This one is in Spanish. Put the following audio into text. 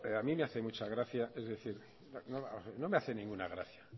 a mí me hace mucha gracia es decir no me hace ninguna gracia